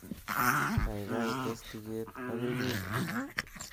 gaigai tes tuget agoi mwisho